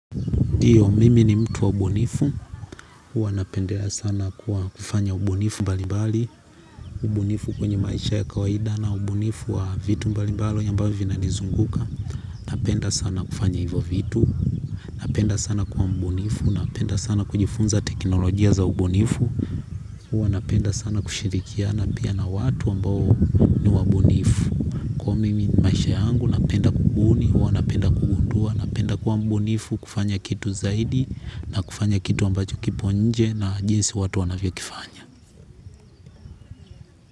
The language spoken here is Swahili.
Ndiyo, mimi ni mtu wa ubunifu. Huwa napendelea sana kuwa kufanya ubunifu mbali-mbali. Ubunifu kwenye maisha ya kawaida na ubunifu wa vitu mbali-mbali ambavyo vina nizunguka. Napenda sana kufanya hivyo vitu. Napenda sana kuwa mbunifu. Napenda sana kujifunza teknolojia za ubunifu. Huwa napenda sana kushirikiana pia na watu ambao ni wabunifu. Huwa mimi maisha yangu napenda kubuni. Huwa napenda kugundua. Napenda kuwa mbunifu kufanya kitu zaidi. Na kufanya kitu ambacho kipo nje na jinsi watu wanavyo kifanya.